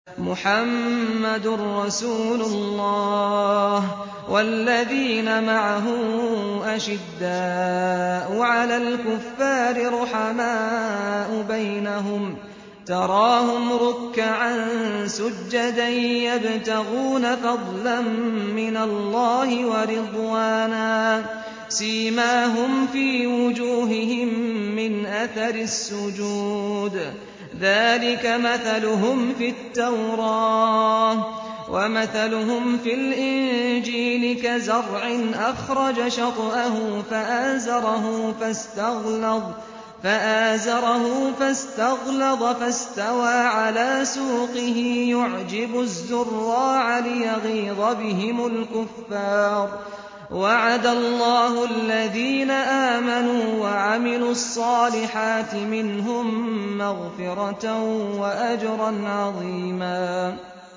مُّحَمَّدٌ رَّسُولُ اللَّهِ ۚ وَالَّذِينَ مَعَهُ أَشِدَّاءُ عَلَى الْكُفَّارِ رُحَمَاءُ بَيْنَهُمْ ۖ تَرَاهُمْ رُكَّعًا سُجَّدًا يَبْتَغُونَ فَضْلًا مِّنَ اللَّهِ وَرِضْوَانًا ۖ سِيمَاهُمْ فِي وُجُوهِهِم مِّنْ أَثَرِ السُّجُودِ ۚ ذَٰلِكَ مَثَلُهُمْ فِي التَّوْرَاةِ ۚ وَمَثَلُهُمْ فِي الْإِنجِيلِ كَزَرْعٍ أَخْرَجَ شَطْأَهُ فَآزَرَهُ فَاسْتَغْلَظَ فَاسْتَوَىٰ عَلَىٰ سُوقِهِ يُعْجِبُ الزُّرَّاعَ لِيَغِيظَ بِهِمُ الْكُفَّارَ ۗ وَعَدَ اللَّهُ الَّذِينَ آمَنُوا وَعَمِلُوا الصَّالِحَاتِ مِنْهُم مَّغْفِرَةً وَأَجْرًا عَظِيمًا